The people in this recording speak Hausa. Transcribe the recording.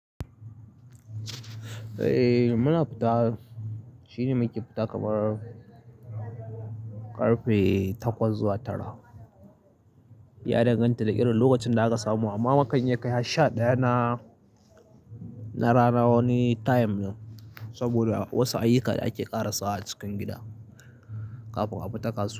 Eh muna fita shine muke fita kamar ƙarfe takwas zuwa tara, ya danganta da irin lokacin da aka samu amma mukan iya kai har sha ɗaya na, na rana wani time ne saboda wasu ayuka da ake ƙara sawa a cikin gida kafin a fita kasuwa.